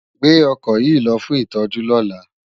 Gbé òkò yi lò fún itòjú lòlá